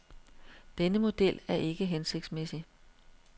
Denne model er ikke hensigtsmæssig.